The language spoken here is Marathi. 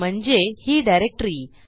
म्हणजे ही डिरेक्टरी